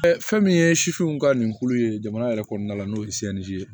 fɛn min ye sifinw ka ni kulu ye jamana yɛrɛ kɔnɔna la n'o ye ye